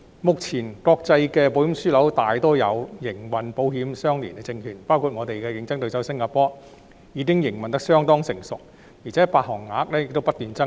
目前，國際的保險樞紐大多數有營運保險相連證券業務，香港的競爭對手新加坡，其營運已相當成熟，而且發行額亦不斷增加。